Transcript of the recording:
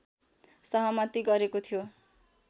सहमति गरेको थियो